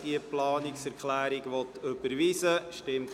des Bundes sind zu berücksichtigen.